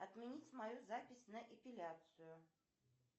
отменить мою запись на эпиляцию